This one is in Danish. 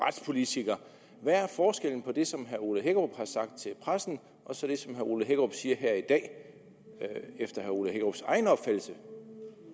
retspolitiker hvad er forskellen på det som herre ole hækkerup har sagt til pressen og så det som herre ole hækkerup siger her i dag efter herre ole hækkerups egen opfattelse